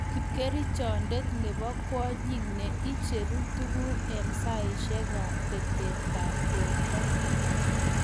kipkerichondet nebo kwonyik ne icheru tuguk eng saisiekab betetab borto